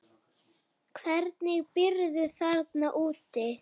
Hvernig býrðu þarna úti?